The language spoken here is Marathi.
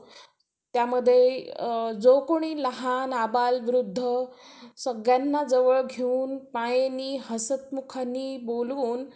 त्यामध्ये जो कोणी लहान, अबाल, वृद्ध सगळ्यांना जवळ घेऊन मायेनी हसत मुखांनी बोलून